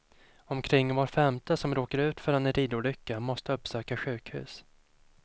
Omkring var femte som råkar ut för en ridolycka måste uppsöka sjukhus.